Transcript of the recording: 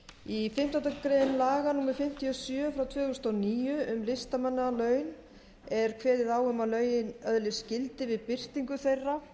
í fimmtándu grein laga númer fimmtíu og sjö tvö þúsund og níu um listamannalaun er kveðið á um að lögin öðlist gildi við birtingu þeirra